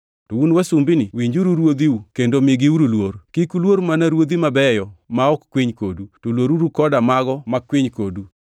To un wasumbini winjuru ruodhiu kendo migiuru luor. Kik uluor mana ruodhi mabeyo ma ok kwiny kodu, to luoruru koda mago makwiny kodu.